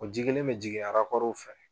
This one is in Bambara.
O ji kelen mɛ jigin fɛ